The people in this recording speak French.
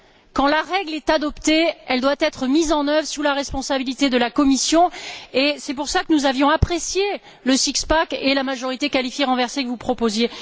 Quand la règle est adoptée, elle doit être mise en œuvre sous la responsabilité de la Commission. C'est pour cela que nous avions apprécié le s ix pack et la majorité qualifiée renversée que vous proposiez.